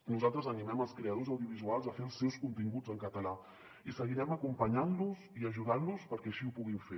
nosaltres animem els creadors audiovisuals a fer els seus con·tinguts en català i seguirem acompanyant·los i ajudant·los perquè així ho puguin fer